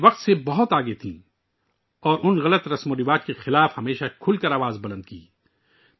وہ اپنے وقت سے بہت آگے تھیں اور غلط ریت و رواج کی مخالفت میں ہمیشہ آواز بلند کرتی رہیں